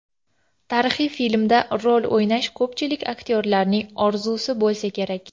Tarixiy filmda rol o‘ynash ko‘pchilik aktyorlarning orzusi bo‘lsa kerak.